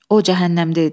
O cəhənnəmdə idi.